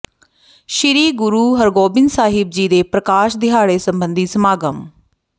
ਸ੍ਰੀ ਗੁਰੂ ਹਰਿਗੋਬਿੰਦ ਸਾਹਿਬ ਜੀ ਦੇ ਪ੍ਰਕਾਸ਼ ਦਿਹਾੜੇ ਸਬੰਧੀ ਸਮਾਗਮ